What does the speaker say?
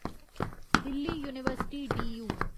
Delhi university DU